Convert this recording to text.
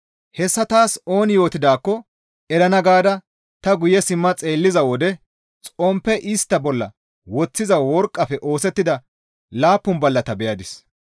Hessa taas ooni yootidaakko erana gaada ta guye simma xeelliza wode xomppe istta bolla woththiza worqqafe oosettida laappun ballata beyadis.